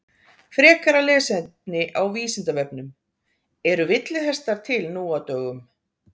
Frekara lesefni á Vísindavefnum Eru villihestar til nú á dögum?